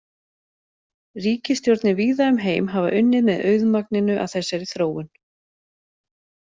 Ríkisstjórnir víða um heim hafa unnið með auðmagninu að þessari þróun.